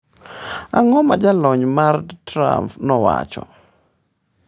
Ang’o ma jolony mag Trump nowacho?